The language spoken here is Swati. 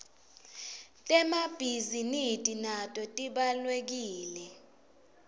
temabhizi nidi nato tibawlekile